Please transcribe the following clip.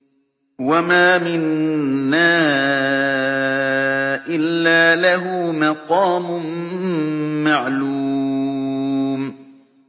وَمَا مِنَّا إِلَّا لَهُ مَقَامٌ مَّعْلُومٌ